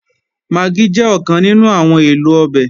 Magí jẹ́ ọ̀kan nínú àwọn èlò ọbẹ̀